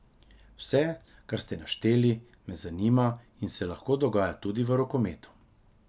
Vse, kar ste našteli, me zanima in se lahko dogaja tudi v rokometu.